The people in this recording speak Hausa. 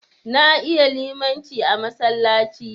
Na iya limaci a masallaci.